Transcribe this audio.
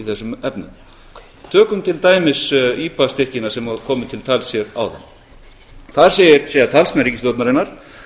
þessum efnum tökum til dæmis ipa styrkina sem hafa komið til tals hér áðan þar segja síðan talsmenn ríkisstjórnarinnar